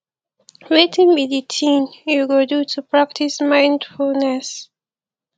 wetin be di thing you go do to practice mindfulness